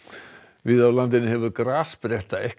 víða á landinu hefur grasspretta ekki